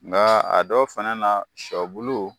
Nka a dɔw fɛnɛ na, shɔ bulu.